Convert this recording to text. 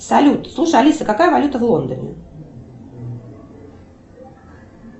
салют слушай алиса какая валюта в лондоне